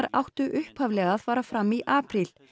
áttu upphaflega að fara fram í apríl